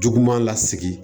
Juguman lasigi